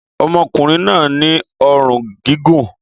ọmọkùnrin náà ní ọrùn gígùn